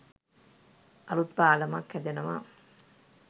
අලුත් පාලම්ක් හැදෙනවා